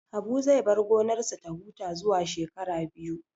Habu zai bar gonarsa ta huta zuwa shekara biyu